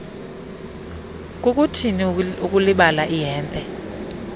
kukuthini ukulibala ihempe